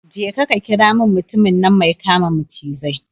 Je ka ka kira mani mutumin nan mai kama macizai